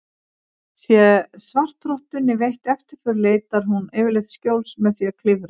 Sé svartrottunni veitt eftirför leitar hún yfirleitt skjóls með því að klifra.